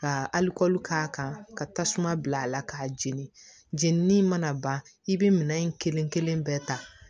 Ka aliko k'a kan ka tasuma bila a la k'a jeni jeninni mana ban i bɛ minɛn in kelen kelen bɛɛ ta